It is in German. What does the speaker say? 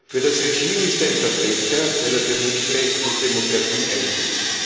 Für das Regime ist er ein Verbrecher, weil er für Menschenrechte und Demokratie eintritt.